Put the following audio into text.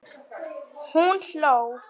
Hún hló.